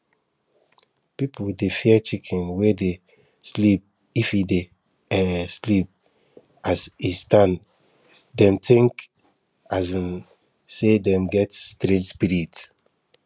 people dey fear chicken wey dey sleep if e dey um sleep as e stand dem think um say dem get strange spirit